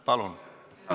Palun!